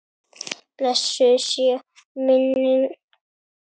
Blessuð sé minning Lillu frænku.